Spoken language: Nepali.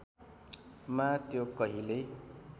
मा त्यो कहिल्यै